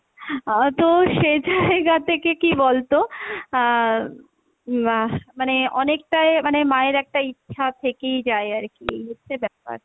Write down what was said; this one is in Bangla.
আহ তো সেজাইগা থেকে কী বলতো আহ উম মানে অনেকটাই মানে মায়ের একটা ইচ্ছা থেকেই যাই আরকি এই হচ্ছে ব্যাপার।